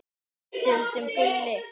Stundum Gulli.